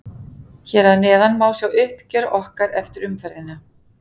Hér að neðan má sjá uppgjör okkar eftir umferðina.